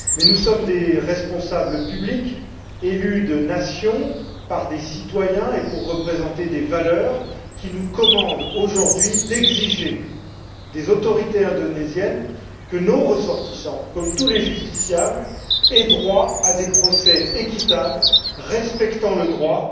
Mais nous sommes des responsables publics, élus dans nos nations par des citoyens pour représenter des valeurs, qui nous commandent, aujourd'hui, d'exiger des autorités indonésiennes que nos ressortissants, comme tous les justiciables, aient droit à des procès équitables, respectant le droit